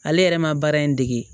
Ale yɛrɛ ma baara in dege